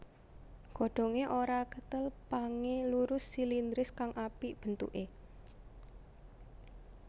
Godhongé ora kethel pangé lurus silindris kang apik bentuké